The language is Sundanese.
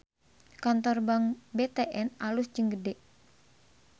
Kantor Bank BTN alus jeung gede